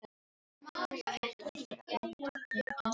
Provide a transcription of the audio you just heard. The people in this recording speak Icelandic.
Orð Kjartans voru auðvitað tekin gild á sínum tíma.